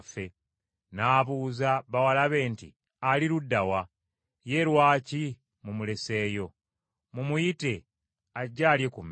N’abuuza bawala be nti, “Ali ludda wa? Ye lwaki mumuleseeyo? Mumuyite ajje alye ku mmere.”